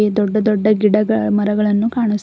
ದೊಡ್ಡ ದೊಡ್ಡ ಗಿಡಗಳ್ ಮರಗಳನ್ನು ಕಾಣಿಸ್ತಿ--